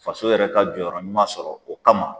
Faso yɛrɛ ka jɔyɔrɔ ɲuman sɔrɔ o kama